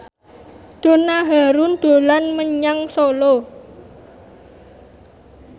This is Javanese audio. Donna Harun dolan menyang Solo